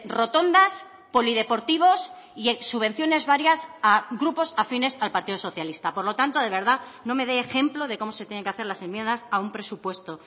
rotondas polideportivos y subvenciones varias a grupos afines al partido socialista por lo tanto de verdad no me dé ejemplo de cómo se tienen que hacer las enmiendas a un presupuesto